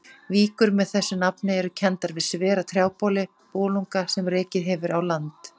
Víkur með þessu nafni eru kenndar við svera trjáboli, bolunga, sem rekið hefur á land.